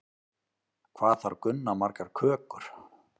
Hvað þarf Gunna margar kökur?